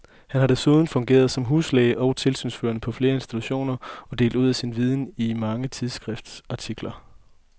Han har desuden fungeret som huslæge og tilsynsførende på flere institutioner og delt ud af sin viden i mange tidsskriftsartikler.